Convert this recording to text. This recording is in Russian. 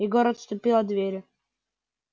егор отступил от двери